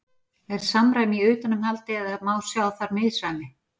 Er samræmi í utanumhaldi eða má sjá þar misræmi?